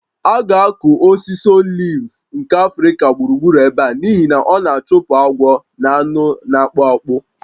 A ga-akụ osisi oliv nke Africa gburugburu ebe a n'ihi na ọ na-achụpụ agwọ na anụ na-akpụ akpụ